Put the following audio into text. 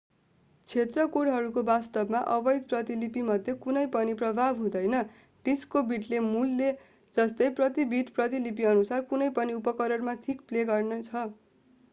क्षेत्र कोडहरूको वास्तवमा अवैध प्रतिलिपिमाथि कुनै पनि प्रभाव हुँदैन डिस्कको बिटले मूलले जस्तै प्रति बिट प्रतिलिपिअनुसार कुनै पनि उपकरणमा ठिक प्ले गर्ने छ